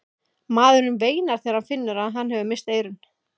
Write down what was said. Maðurinn veinar þegar hann finnur að hann hefur misst eyrun.